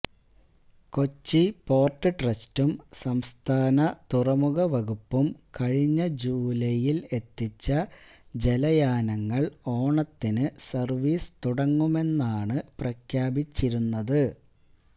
Kochi port ട്രസ്റ്റും സംസ്ഥാന തുറമുഖ വകുപ്പും കഴിഞ്ഞ ജൂലൈയില് എത്തിച്ച ജലയാനങ്ങള് ഓണത്തിന് സര്വിസ് തുടങ്ങുമെന്നാണ് പ്രഖ്യാപിച്ചിരുന്നത്